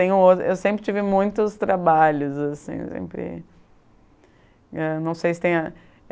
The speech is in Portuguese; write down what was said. tenho outro. Eu sempre tive muitos trabalhos assim, eu sempre, não sei se tem